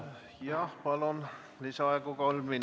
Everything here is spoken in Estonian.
Palun lisaaega!